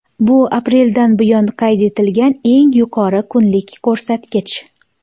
Bu apreldan buyon qayd etilgan eng yuqori kunlik ko‘rsatkich.